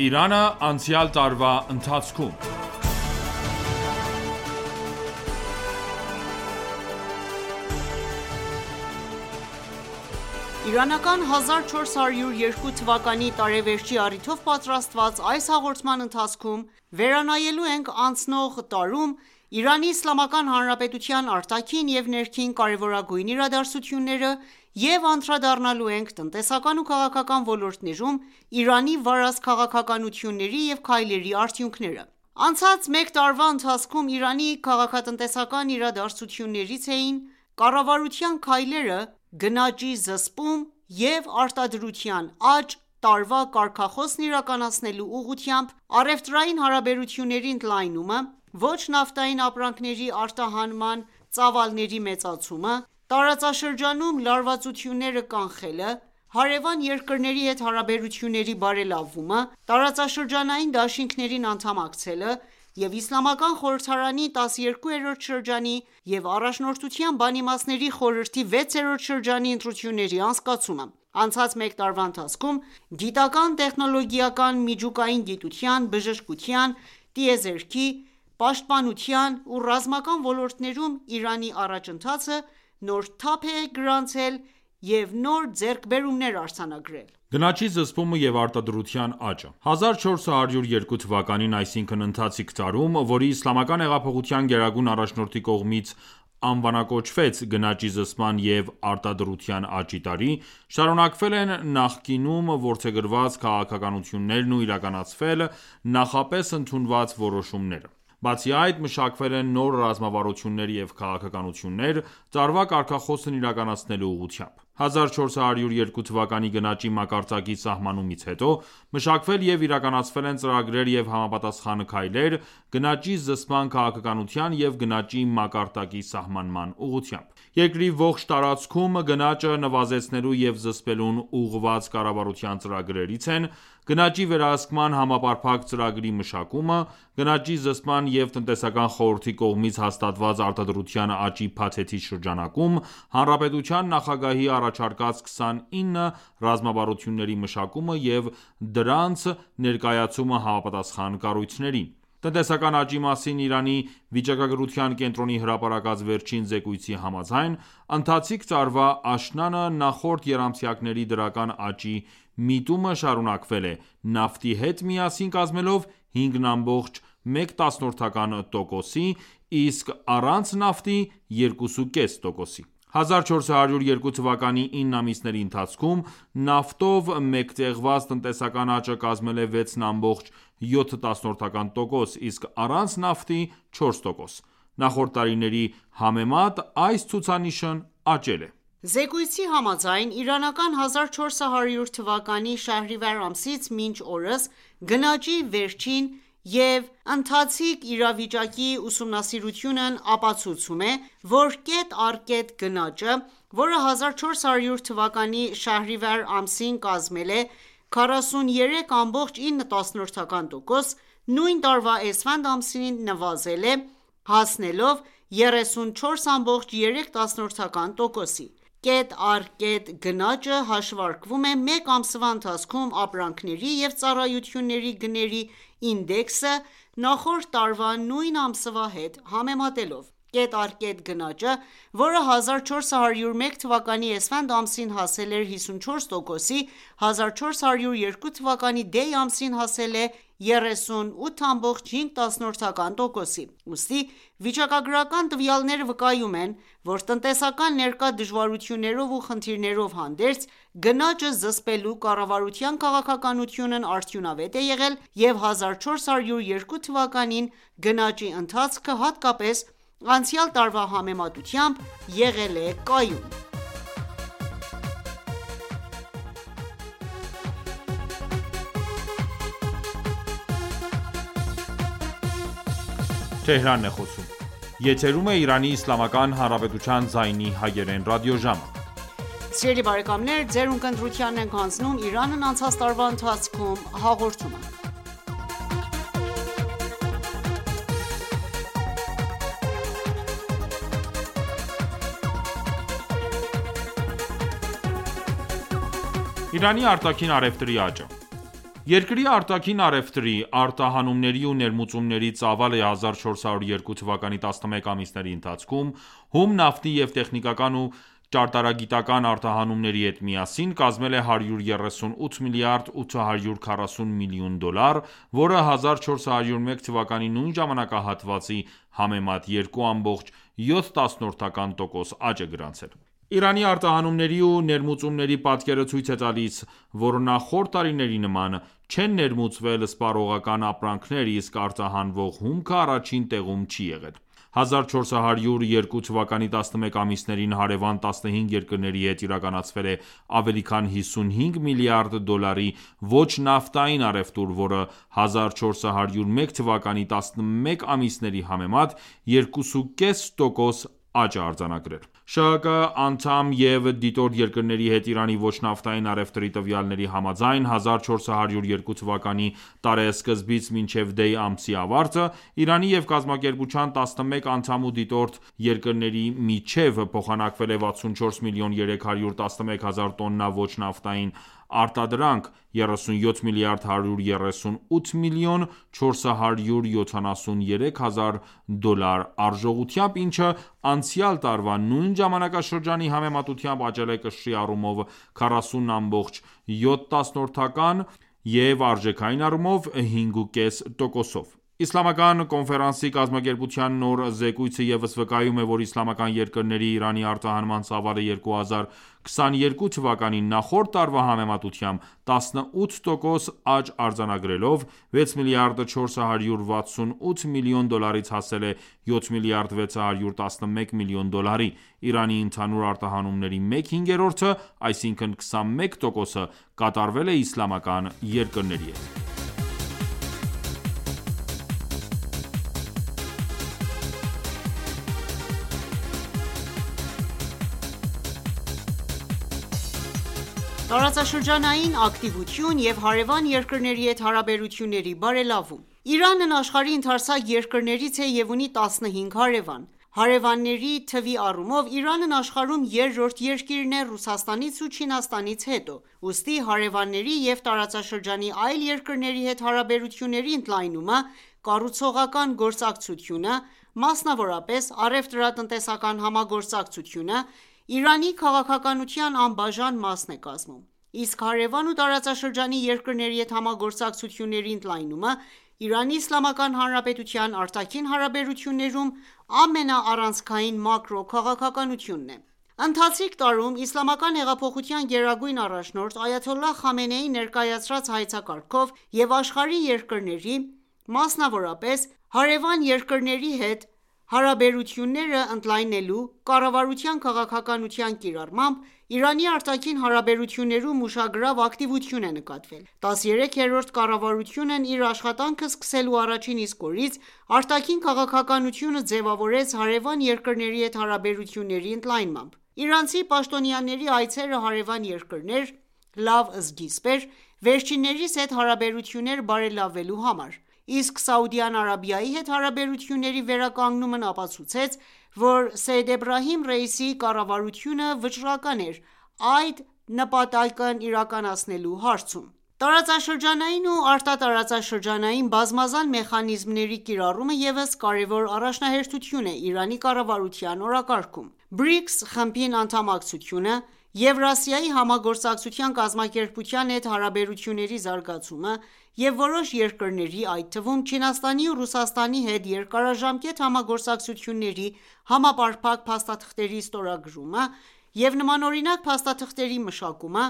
Իրանն անցած տարվա ընթացքում (Մաս առաջին) Իրանական 1402 թվականի տարեվերջի առիթով պատրաստված այս հաղորդման ընթացքում վերանայելու ենք անցնող տարում Իրանի Իսլամական Հանրապետության արտաքին և ներքին կարևորագույն իրադարձությունները և անդրադառնալու ենք տնտեսական ու քաղաքական ոլորտներում Իրանի վարած քաղաքականությունների ու քայլերի արդյունքներին: Անցած մեկ տարվա ընթացքում Իրանի քաղաքա-տնտեսական իրադարձություններից էին՝ կառավարության քայլերը՝ «Գնաճի զսպում և արտադրության աճ» տարվա կարգախոսն իրականացնելու ուղղությամբ, առևտրային հարաբերությունների ընդլայնումը, ոչ նավթային ապրանքների արտահանման ծավալների մեծացումը, զ տարածաշրջանում լարվածությունները կանխելը, հարևան երկրների հետ հարաբերությունների բարևլավումը, տարածաշրջանային դաշինքներին անդամակցելը և Իսլամական խորհրդարանի 12-րդ շրջանի և Առաջնորդության Բանիմացների խորհրդի 6-րդ շրջանի ընտրությունների անցկացումը: Անցած մեկ տարվա ընթացքում գիտական, տեխնոլոգիական, միջուկային գիտության, բժշկության, տիեզերքի, պաշտպանության ու ռազմական ոլորտներում Իարնի առաջընթացը նոր թափ և գրանցվել են նոր ձեռքբերումներ: Գնաճի զսպումը և արտադրության աճը 1402 թվականին, այսինքն՝ ընթացիկ տարում, որի Իսլամական հեղափոխության գերագույն առաջնորդի կողմից անվանակոչվեց՝ «Գանճի զսպման և արտադրության աճի տարի», շարունակվել են նակինում որդեգրված քաղաքականություններն ու իրականացվել նախապես ընդունված որոշումները։ Բացի այդ, մշակվել են նոր ռազմավարություններ և քաղաքականություններ, տարվա կարգախոսն իրականացնելու ուղղությամբ: 1402 թվականի գնաճի մակարդակի սահմանումից հետո, մշակվել և իրականացվել են ծրագրեր և համապատասխան քայլեր՝ գնաճի զսպման քաղաքականության և գնաճի մակարդակի սահմանման ուղղությամբ։ Երկրի ողջ տարածքում գնաճը նվազեցնելու և զսպելուն ուղղված կառավարության ծրագրերից են՝ գնաճի վերահսկման համապարփակ ծրագրի մշակումը՝ գնաճի զսպման և տնտեսական խորհրդի կողմից հաստատված արտադրության աճի փաթեթի շրջանակում, Հանրապետության նախագահի առաջարկած 29 ռազմավարությունների մշակումը և դրանց ներկայացումը համապատասխան կառույցներին։ Տնտեսական աճի մասին Իրանի վիճակագրության կենտրոնի հրապարակած վերջին զեկույցի համաձայն՝ ընթացիկ տարվա աշնանը, նախորդ եռամսյակների դրական աճի միտումը շարունակվել է, նավթի հետ միասին կազմելով 5.1 տոկոս,ի սկ առանց նավթի՝ 2.5։ 1402 թվականի 9 ամիսների ընթացքում, նավթով մեկտեղված տնտեսական աճը կազմել է 6.7տոկոս, իսկ առանց նավթի՝ 4 տոկոս։ Նախորդ տարիների համեմատ այս ցուցանիշն աճել է։ Զեկույցի համաձայն՝ իրանական 1400 թվականի շահրիվար ամսից մինչ օրս՝ գնաճի վերջին և ընթացիկ իրավիճակի ուսումանսիրությունն ապացուցում է, որ կետ առ կետ գնաճը, որը 1400 թվականի շահրիվար ամսին կազմել է 43.9 տոկոս, նույն տարվա էսֆանդ ամսին նվազել է, ահսնելով 34.3 տոկոսի: (Կետ առ կետ գնաճը հաշվարկվում է մեկ ամսվա ընթացքում ապրանքների և ծառայությունների գների ինդեքսը նախորդ տարվա նույն ամսվա հետ համեմատելով): Կետ առ կետ գնաճը, որը 1401 թվականի էսֆանդ ամսին հասել էր 54 տոկոսի, 1402 թվականի դեյ ամսին հասել է 38.5 տոկոսի: Ուստի վիճակագրական տվյալները վկայում են, որ տնտեսական ներկա դժվարություններով ու խնդիրներով հանդերձ, գնաճը զսպելու կառավարության քաղաքականությունն արդյունավետ է եղել և 1402 թվականին գնաճի ընթացքը, հատկապես անցյալ տարվա համեմատությամբ, եղել կայուն։ Իրանի արտաքին առևտրի աճը Երկրի արտաքին առևտրի՝ արտահանումների ու ներմուծումների ծավալը 1402 թվականի 11 ամիսների ընթացքում, հում նավթի և տեխնիկական ու ճարտարագիտական արտահանումների հետ միասին, կազմել է 138 միլիարդ 840 միլիոն դոլար, որը 1401 թվականի նույն ժամանակահատվածի համեմատ 2.7 տոկոս աճ է գրանցել: Իրանի արտահանումների ու ներմուծումների պատկերը ցույց էտալիս է, որ նախորդ տարիների նման, չեն ներմուծվել սպառողական ապրանքներ, իսկ արտահանվող հումքը առաջին տեղում չի եղել: 1402 թվականի 11 ամիսներին հարևան 15 երկրների հետ իրականացվել է ավելի քան 55 միլիարդ դոլարի ոչ նավտային առևտուր, որը 1401 թվականի 11 ամիսների համեմատ 2.5 տոկոս աճ է արձանագրել: ՇՀԿ անդամ և դիտորդ երկրների հետ Իրանի ոչ նավթային առևտրի տվյալների համաձայն՝ 1402 թվականի տարեսկզբից մինչև դեյ ամսի ավարտը, Իրանի և կազմակերպության 11 անդամ ու դիտորդ երկրների միջև փոխանակվել է 64 միլիոն 311 հազար տոննա ոչ նավթային արտադրանք՝ 37 միլիարդ 138 միլիոն 473 հազար դոլար արժողությամբ, ինչը անցյալ տարվա նույն ժամանակաշրջանի համեմատությամբ աճել է կշռի առումով՝ 40.7, արժեքային առումով՝ 5.5 տոկոսով։ Իսլամական կոնֆերանսի կազմակերպության նոր զեկոյցը ևս վկայում է, որ իսլամական երկրներ Իրանի արտահանման ծավալը 2022 թվականին նախորդ տարվա համեմատությամբ 18 տոկոս աճ արձանագրելով, 6 միլիարդ 468 միլիոն դոլարից հասել է 7 միլիարդ 611 միլիոն դոլարի: Իրանի ընդհանուր արտահանումների մեկ հինգերորդը, այսինքն 21 տոկոսը, կատարվել է իսլամական երկրներ: Տարածաշրջանային ակտիվություն և հարևան երկրների հետ հարաբերությունների բարելավում Իրանն աշխարհի ընդարձակ երկրներից է և ունի 15 հարևան։ Հարևանների թվի առումով Իրանն աշխարհում երրորդ երկիրն է՝ Ռուսաստանից ու Չինաստաից հետո, ուստի հարևանների և տարածաշրջանի այլ երկրների հետ հարաբերությունների ընդլայնումը, կառուցողական գործակցությունը, մասնավորապես՝ առևտրա-տնտեսական համագործակցությունը, Իրանի քաղաքականության անբաժան մաս է կազմում։ Իսկ հարևան ու տարածաշրջանի երկրների հետ համագործակցությունների ընդլայնումը ԻԻՀ արտաքին հարաբերություններում ամենաառանցքային մակրո քաղաքականությունն է: Ընթացիկ տարում Իսլամական հեղափոխության գերագույն առաջնորդ Այաթոլլահ Խամենեիի ներկայացրած հայեցակարգով, և աշխարհի երկրների, ամսնավորապես՝ ի հարևան երկրների հետ հարաբերությունները ընդլայնելու կառավարության քաղաքականության կիրառմամբ, Իրանի արտաքին հարաբերություններում ուշագրավ ակտիվություն է նկատվել: 13-րդ կառավարությունն իր աշխատանքը սկսելու առաջին իսկ օրից արտաքին քաղաքականությունը ձևավորեց հարևան երկրների հետ հարաբերությունների ընդլայնմամբ: Իրանցի պաաշտոնյաների այցերը հարևան երկրներ, լավ սկիզբ էր վերջիններիս հետ հարաբերությունները բարելավելու համար։ իսկ Սաուդյան Արաբիայի հետ հարաբերությունների վերականգնումն ապացուցեց, որ Սեյեդ Էբրահիմ Ռայիսիի կառավարությունը վճռական էր՝ այդ նպատակն իրականացնելու հարցում։ Տարածաշրջանային ու արտատարածաշրջանային բազմազան մեխանիզմների կիրառումը ևս կարևոր առաջնահերթություն է Իրանի կառավարության օրակարգում: ԲՐԻԿՍ խմբին անդամակցությունը, Եվրասիայի համագործակցության կազմակերպության հետ հարաբերությունների զարգացումը և որոշ երկրների, այդ թվում՝ Չինաստանի ու Ռուսաստանի հետ երկարաժամկետ համագործակցությունների համապարփակ փաստաթղթերի ստորագրումը, և նմանօրինակ փաստաթղթերի մշակումը,